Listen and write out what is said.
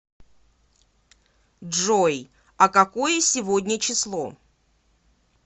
джой а какое сегодня число